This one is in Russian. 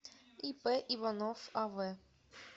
ип иванов ав